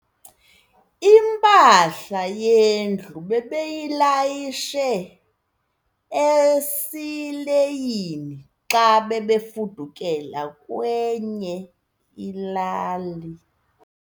Impahla yendlu bebeyilayishe esileyini xa bebefudukela kwenye ilali.